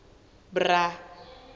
bra